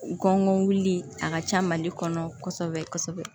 Gɔngɔn wulili a ka ca mali kɔnɔ kɔsɛbɛ kɔsɛbɛ